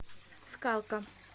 скалка